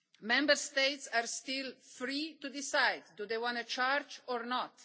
Member States are still free to decide whether they want to charge or